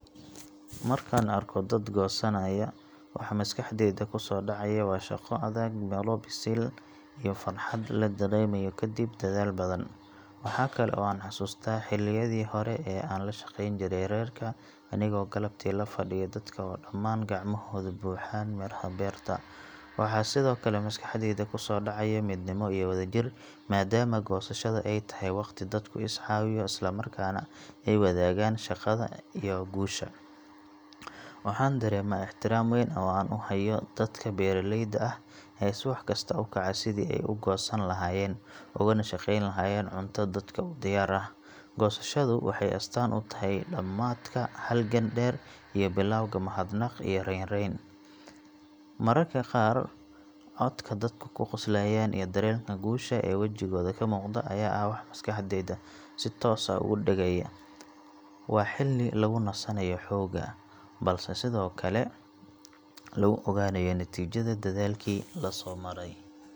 Markaan arko dad goosanaya, waxa maskaxdayda kusoo dhacaya waa shaqo adag, midho bisil, iyo farxad la dareemayo kadib dadaal badan. Waxa kale oo aan xasuustaa xilliyadii hore ee aan la shaqeyn jiray reerka, anigoo galabtii la fadhiya dadka oo dhammaan gacmahoodu buuxaan midhaha beerta. Waxaa sidoo kale maskaxdayda ku soo dhacaya midnimo iyo wadajir, maadaama goosashada ay tahay waqti dadku is caawiyo, isla markaana ay wadaagaan shaqada iyo guusha. Waxaan dareemaa ixtiraam weyn oo aan u hayo dadka beeraleyda ah ee subax kasta u kaca sidii ay wax u goosan lahaayeen, ugana shaqeyn lahaayeen cunto dadka u diyaar ah. Goosashadu waxay astaan u tahay dhammaadka halgan dheer iyo bilowga mahadnaq iyo reeyaan. Mararka qaar, codka dadku ku qoslayaan iyo dareenka guusha ee wajigooda ka muuqda ayaa ah wax maskaxda si toos ah ugu dhegaya. Waa xilli lagu nasanayo xoogaa, balse sidoo kale lagu ogaanayo natiijada dadaalkii la soo maray.